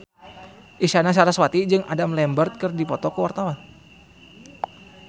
Isyana Sarasvati jeung Adam Lambert keur dipoto ku wartawan